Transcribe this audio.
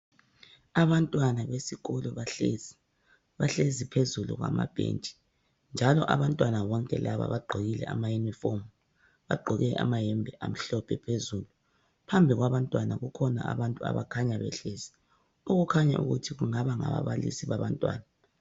abantwana besikolo bahlezi bahlezi phezulu kwamabhentshi njalo abantwana bonke laba bagqokile ama uniform bagqoke ama yembe amhlophe phezulu phambi kwabantwana bakhona abantu abakhanya behlezi okukhanya ukuthi kungaba ngababalisi babantwana